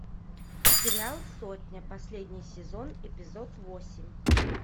сериал сотня последний сезон эпизод восемь